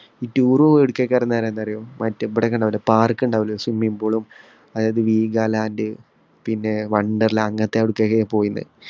ഈ tour പോകുക എവിടുത്തേക്കാണെന്ന് അറിയാവുമോ ഈ park ഉണ്ടാവൂലെ, ഈ swimming pool ഉം അതായത് വീഗാലാൻഡ്, പിന്നെ വണ്ടർലാ അങ്ങനത്തെ അവിടുത്തേക്കാണ് പോയിന്.